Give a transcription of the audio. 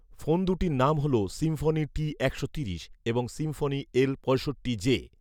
phone দুটির নাম হল সিম্ফনি টি একশো তিরিশ এবং সিম্ফনি এল পঁয়ষট্টি জে